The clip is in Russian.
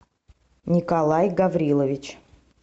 николай гаврилович